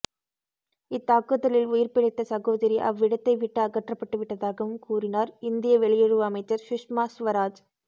இத்தாக்குதலில் உயிர்பிழைத்த சகோதரி அவ்விடத்தைவிட்டு அகற்றப்பட்டு விட்டதாகவும் கூறினார் இந்திய வெளியுறவு அமைச்சர் சுஷ்மா சுவராஜ்